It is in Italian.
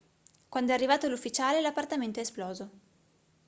quando è arrivato l'ufficiale l'appartamento è esploso